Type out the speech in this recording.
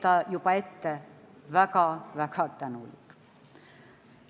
Ta oli juba ette väga-väga tänulik.